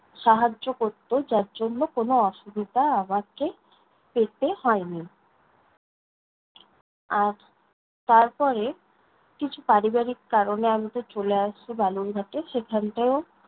সাহায্য করত, যার জন্য কোনো অসুবিধা আমাকে পেতে হয়নি। আর তারপরে, কিছু পারিবারিক কারণে আমি তো চলে আসব বালুরঘাটে সেখানটাও,